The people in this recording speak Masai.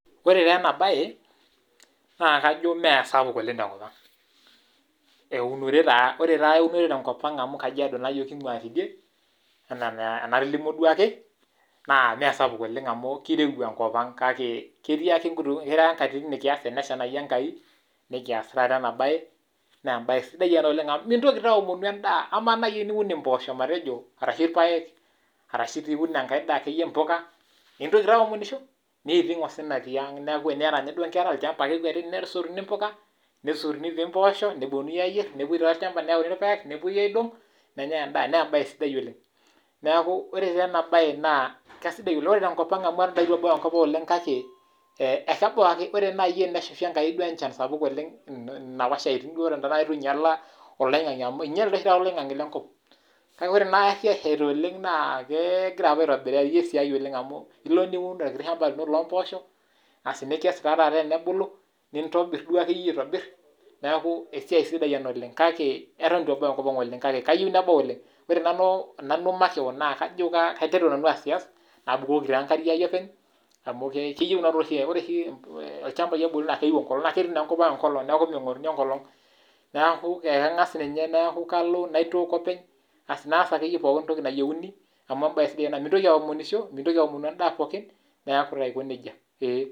Ore taa ena bae naa kajo mee sapuk oleng tenkopang ,uonore taa ,ore taa eunore tenkopang amu kajiado naa kingua yiok teidie enaa anatolimuo duake, naa meesapuk oleng amu keirowua enkopang kake enya nkatitin nikias tenesha Enkai nikias taata ena bae, naa embae sidai ena oleng amu nintoki taa aomonu endaa ,ama naaji matejo teniun mpoosho orashu irpaek orashu pee iun ekeyie enkai daa mpuka, mintoki aomonisho ,neiting osina tiang, neeku tiniyata ninye inkera olchampa ake ekwetikini neyauni mpuka ,nesotuni dii mpoosho nepoi aayier ,nepoi olchampa nayauni irpaek nepwoi aidong, nanyae endaa naa embae sidai oleng. neeku ore taa ena bae naa keisidai oleng, ore tenkopang ang amu eton eitu ebau enkopang kake ore naaji tenesha ankai enchan duo sapuk oleng, apa eton eitu einyala oloingange amu einyele dei oshi olongane lenkop ,kake ore naari eshida naa kingira apa aitobirari esiai oleng amu ilo niun orkiti shampa lino loomposho, nikess taa taata tenabulu nitobir duo akeyie aitobir, neeku esiai sidai ena oleng kake eto eitu ebau enkopang oleng kake kayieu nebau oleng, ore nanu makewon naa kajo kaiteru nanu aasias nabukoki enkare aai openy amu keyiu oshi ilchamapai enkolong naa ketii enkopang enkolong neeku meingoruni enkolong neeku ninye kangas nalo naitook openy, naas akeyie pookin toki nayieuni amu embae sidai ena ,mintoki aomonisho mintoki aomonu endaa pookin neeku taa aiko nejia.